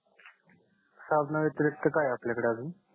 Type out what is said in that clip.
साबणा व्यतिरिक्त काय आपल्याकडे अजून